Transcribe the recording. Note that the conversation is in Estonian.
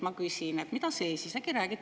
Ma küsin, mida siin.